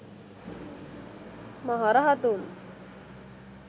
maha rahathun